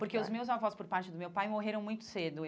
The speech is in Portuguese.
Porque os meus avós, por parte do meu pai, morreram muito cedo.